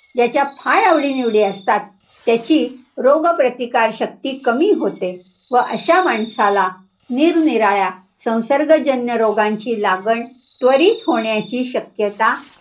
ज्याच्या फार आवडीनिवडी असतात. त्याची रोगप्रतिकारशक्ती कमी होते. व अशा माणसाला निरनिराळ्या संसर्गजन्य रोगांची लागण त्वरित होण्याची शक्यता,